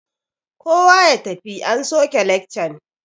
Kowa ya tafi an soke lekcan!